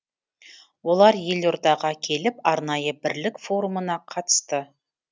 олар елордаға келіп арнайы бірлік форумына қатысты